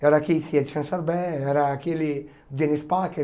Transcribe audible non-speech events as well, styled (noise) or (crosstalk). Era, (unintelligible) era aquele Dennis Parker.